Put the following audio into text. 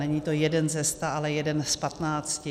Není to jeden ze sta, ale jeden z patnácti.